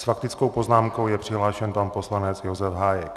S faktickou poznámkou je přihlášen pan poslanec Josef Hájek.